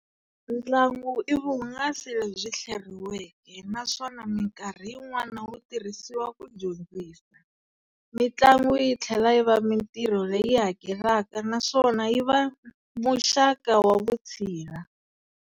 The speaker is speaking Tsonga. Ntlangu ivuhungasi lebyi hleriweke, naswona minkarhi yin'wana wu tirhisiwa ku dyondzisa. Mintlangu yithlela yiva mintirho leyi hakelaka, naswona yiva muxaka wa Vuthsila.